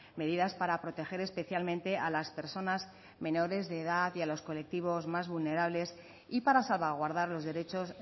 medidas para proteger especialmente a las personas menores de edad y a los colectivos más vulnerables y para salvaguardar los derechos